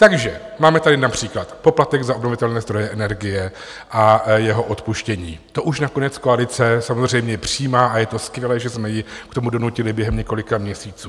Takže máme tady například poplatek za obnovitelné zdroje energie a jeho odpuštění, to už nakonec koalice samozřejmě přijímá a je to skvělé, že jsme ji k tomu donutili během několika měsíců.